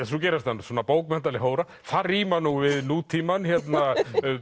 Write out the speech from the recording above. svo gerist hann bókmenntaleg hóra það rímar nú við nútímann hérna